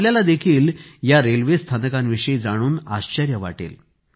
आपल्यालाही या रेल्वे स्थानकांविषयी जाणून आश्चर्य वाटेल